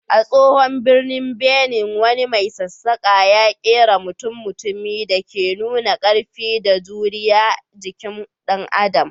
A tsohon birnin Benin, wani mai sassaƙa ya kera mutum-mutumi da ke nuna ƙarfi da juriyar jikin dan Adam.